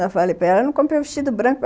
Eu falei, pera, eu não comprei um vestido branco.